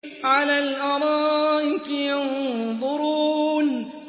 عَلَى الْأَرَائِكِ يَنظُرُونَ